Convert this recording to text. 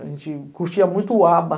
A gente curtia muito o ABBA.